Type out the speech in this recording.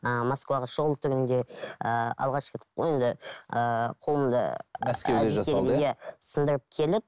ыыы москвада шұғыл түрінде ыыы алғашқы енді ыыы қолымда сындырып келіп